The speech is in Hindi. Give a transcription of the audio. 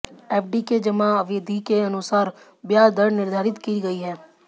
एफडी के जमा अवधि के अनुसार ब्याज दर निर्धारित की गई हैं